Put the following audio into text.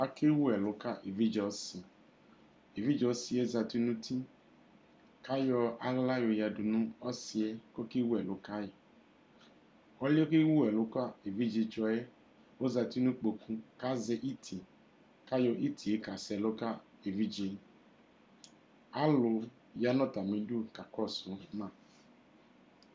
Ake wu ɛlʋ ka evidze ɔsi Evidze ɔsi yɛ zati n'uti k'ayɔ aɣla y'oɣǝdʋ nʋ ɔsi yɛ k'ɔke wu ɛlʋ ka Ɔlʋ yɛ ke wu k'evidze tsɔ yɛ ozati nʋ ikpoku k'azɛ iti, k'ayɔ iti yɛ ka sɛlʋ ka evidze Alʋ yanʋ atamidu kakɔsʋ ma